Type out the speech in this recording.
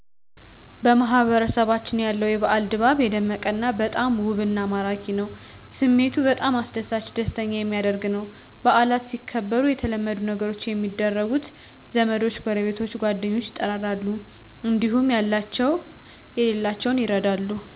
በማህበረሰባችን ያለው የበአል ድባብ የደመቀ እና በጣም ውብና ማራኪ ነው። ስሜቱ በጣም አስደሣች ደስተኛ የሚያደረግ ነው። በአላት ሲከበሩ የተለመዱ ነገሮች የሚደረጉት ዘመዶች ጎረቤቶች ጓደኞች ይጠራጠራሉ እዲሁም ያላቸው የሌላቸውን ይረዳሉ።